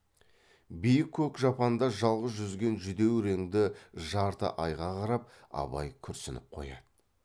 биік көк жапанда жалғыз жүзген жүдеу реңді жарты айға қарап абай күрсініп қояды